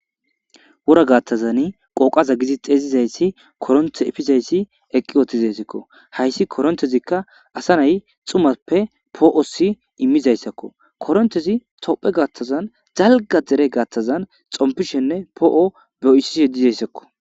Wora gatani qoqaza getitizaysi koronte efizaysi eqi uttidaysazako haysi koronteziza asa nai' xumappe poo'si immizaysakko. Koronteze tophphe gidon dalga gata xonppishene poi'sishe dizaysakko.